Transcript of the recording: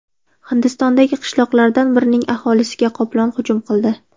Hindistondagi qishloqlardan birining aholisiga qoplon hujum qildi .